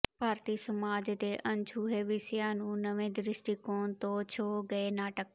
ਭਾਰਤੀ ਸਮਾਜ ਦੇ ਅਣਛੂਹੇ ਵਿਸ਼ਿਆਂ ਨੂੰ ਨਵੇਂ ਦ੍ਰਿਸ਼ਟੀਕੋਣ ਤੋਂ ਛੂਹ ਗਏ ਨਾਟਕ